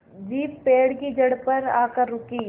jeep पेड़ की जड़ पर आकर रुकी